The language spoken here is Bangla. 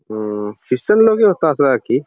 উম ক্রিস্টান লোকই তাছাড়া আর কি ।